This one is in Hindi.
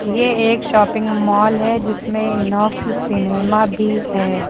ये एक शॉपिंग मॉल है जिसमें इनॉक्स सिनेमा भी है।